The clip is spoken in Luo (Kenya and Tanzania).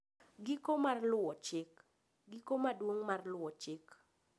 Giko mar Luwo Chik: Giko maduong' mar luwo chik.